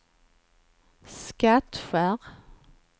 Skattkärr